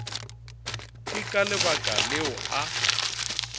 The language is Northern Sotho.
ke ka lebaka leo a